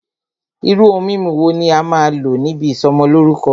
Irú ohun mímu wo ní a máà n lò níbi ìsọmọlórúkọ́?